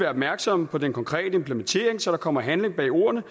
opmærksomme på den konkrete implementering så der kommer handling bag ordene